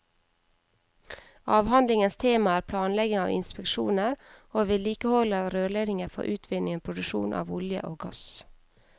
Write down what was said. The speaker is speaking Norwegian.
Avhandlingens tema er planlegging av inspeksjoner og vedlikehold av rørledninger for utvinning og produksjon av olje og gass.